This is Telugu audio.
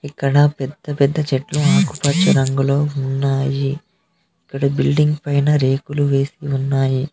ఇక్కడ పెద్ద పెద్ద చెట్లు ఆకుపచ్చ రంగులో ఉన్నాయి ఇక్కడ బిల్డింగ్ పైన రేకులు వేసి ఉన్నాయి.